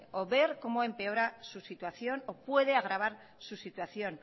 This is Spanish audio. o ver como empeora su situación o puede agravar su situación